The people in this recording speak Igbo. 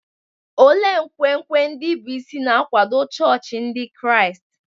Olee nkwenkwe ndị bụ́ isi na-akwado chọọchị Ndị Kraịst?